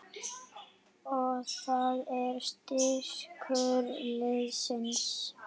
Og það er styrkur liðsins